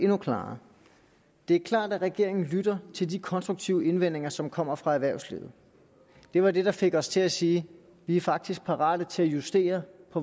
mere klart det er klart at regeringen lytter til de konstruktive indvendinger som kommer fra erhvervslivet det var det der fik os til at sige vi er faktisk parate til at justere